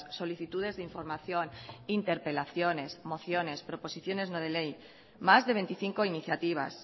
solicitudes de información interpelaciones mociones proposiciones no de ley más de veinticinco iniciativas